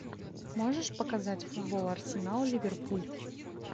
можешь показать футбол арсенал ливерпуль